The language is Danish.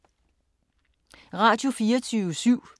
Radio24syv